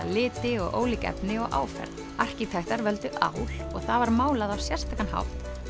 liti og ólík efni og áferð arkitektar völdu ál og það var málað á sérstakan hátt